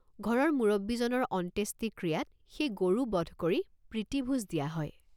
ঘৰৰ মুৰব্বীজনৰ অন্ত্যেষ্টিক্ৰিয়াত সেই গৰু বধ কৰি প্ৰীতিভোজ দিয়া হয়।